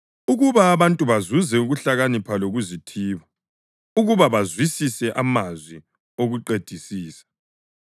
ukuba abantu bazuze ukuhlakanipha lokuzithiba; ukuba bazwisise amazwi okuqedisisa;